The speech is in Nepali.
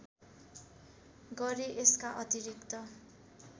गरे यसका अतिरिक्त